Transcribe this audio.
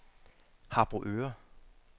Harboøre